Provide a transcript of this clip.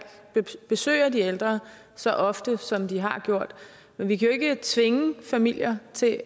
besøger de ældre så ofte som de har gjort men vi kan jo ikke tvinge familier til